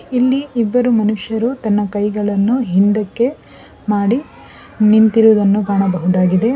ಇಲ್ಲಿ ಇಬ್ಬರು ಮನುಷ್ಯರು ತನ್ನ ಕೈಗಳನ್ನು ಹಿಂದಕ್ಕೆ ಮಾಡಿ ನಿಂತಿರುವುದನ್ನು ಕಾಣಬಹುದಾಗಿದೆ.